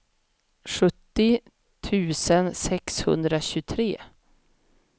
sjuttio tusen sexhundratjugotre